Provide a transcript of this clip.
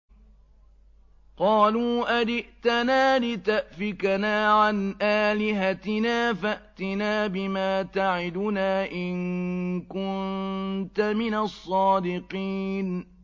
قَالُوا أَجِئْتَنَا لِتَأْفِكَنَا عَنْ آلِهَتِنَا فَأْتِنَا بِمَا تَعِدُنَا إِن كُنتَ مِنَ الصَّادِقِينَ